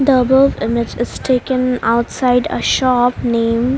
The above image is taken outside a shop name --